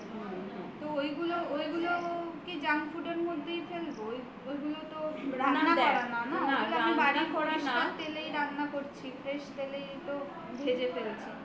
তো ওইগুলো কেউ কি junk food র মধ্যে ফেলব এগুলো রান্না করা না না বাড়িতে তেলেই রান্না করছি fresh তেলেই তো ভেজে ফেলছি